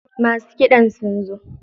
Masu kiɗan sun zo.